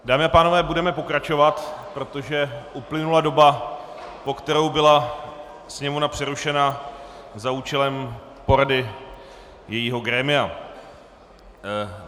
Dámy a pánové, budeme pokračovat, protože uplynula doba, po kterou byla Sněmovna přerušena za účelem porady jejího grémia.